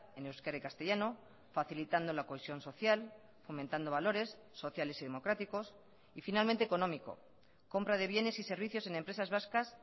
en euskera y castellano facilitando la cohesión social fomentando valores sociales y democráticos y finalmente económico compra de bienes y servicios en empresas vascas